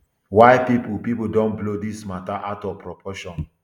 why pipo pipo don blow dis mata out of proportion